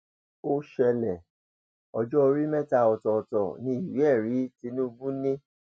ó ṣẹlẹ ọjọ orí mẹta ọtọọtọ ní ìwéẹrí tinubu ni